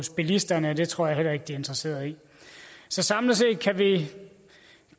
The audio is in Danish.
bilisterne og det tror jeg heller ikke de er interesseret i så samlet set kan vi